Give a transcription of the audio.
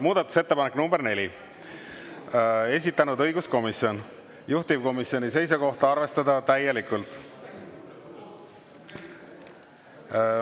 Muudatusettepanek nr 4, esitanud õiguskomisjon, juhtivkomisjoni seisukoht: arvestada täielikult.